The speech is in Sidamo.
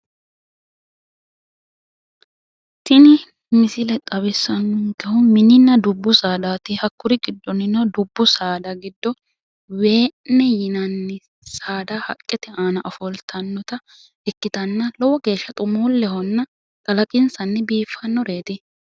Tini misile xawissannonkehu mininna dubbu saadati. Hakkuri giddonnino dubbu saada giddo wee'ne yinanni saada haqqete ofoltannore ikkitanna lowo geshsha xumuullehonna kalaqinsanni biiffannoreeti.